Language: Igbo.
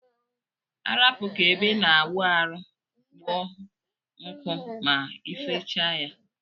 Arapu ka ebe ina awụ arụ kpụọ nku ma ifechsie ya.